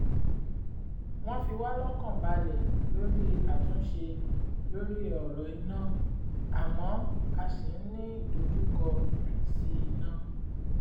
wọ́n fi wá lọ́kàn balẹ̀ lórí àtúnṣe lórí ọ̀rọ̀ iná àmọ́ a ṣì ń ní ìdojúkọ àìsí-iná